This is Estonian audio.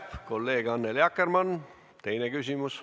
Kolleeg Annely Akkermann, teine küsimus.